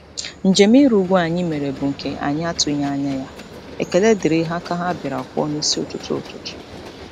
Njem ịrị ugwu anyị mere bụ nke anyị atụghị anya ya, ekele dịrị aka ha bịara kụọ n'isi ụtụtụ. ụtụtụ.